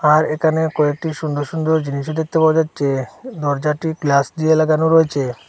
আর এখানে কয়েকটি সুন্দর সুন্দর জিনিসও দেখতে পাওয়া যাচ্ছে দরজাটি গ্লা দিয়ে লাগানো রয়েছে।